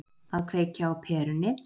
Að kveikja á perunni